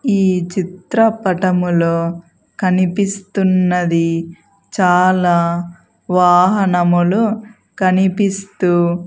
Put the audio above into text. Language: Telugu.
ఈ చిత్రపటములో కనిపిస్తున్నది చాలా వాహనములు కనిపిస్తూ--